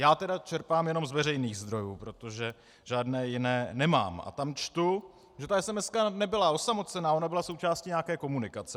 Já tedy čerpám jenom z veřejných zdrojů, protože žádné jiné nemám, a tam čtu, že ta esemeska nebyla osamocená, ona byla součástí nějaké komunikace.